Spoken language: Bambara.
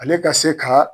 Ale ka se ka